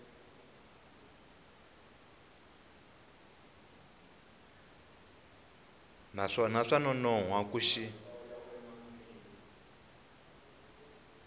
naswona swa nonoha ku xi